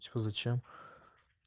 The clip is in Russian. всё зачем